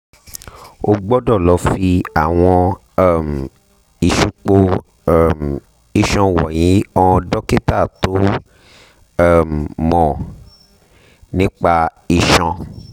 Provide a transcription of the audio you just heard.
o gbọ́dọ̀ lọ fi àwọn um ìsupo um iṣan wọ̀nyí hàn dókítà tó um mọ̀ nípa iṣan